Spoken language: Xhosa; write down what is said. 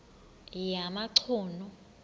yamachunu